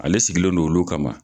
Ale sigilen don olu kama.